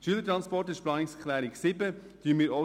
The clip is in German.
Um diese geht es in der Planungserklärung 7.